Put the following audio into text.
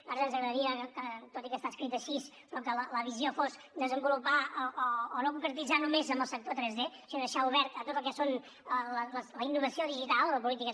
a nosaltres ens agradaria que tot i que està escrit així la visió fos desenvolupar o no concretar només en el sector 3d sinó deixar obert a tot el que són la innovació digital les polítiques